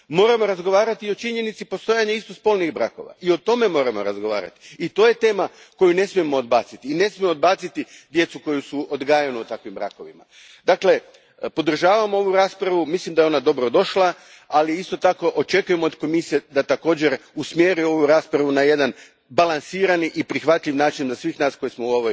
Moramo razgovarati i o činjenici postojanja istospolnih brakova, to je tema koju ne smijemo odbaciti i ne smijemo odbaciti djecu koja su odgajana u takvim brakovima. Podržavam ovu raspravu, mislim da je ona dobrodošla, ali isto tako, očekujem od Komisije da također usmjeri ovu raspravu na jedan balansirani i prihvatljiv način za sve nas koji smo u